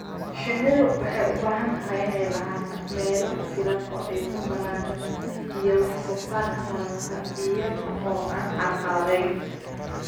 Shinnidu waxay u baahan tahay inay lahaato meelo ku filan oo ay ku koraan iyo wax soo saarka malabka iyada oo aan carqaladayn.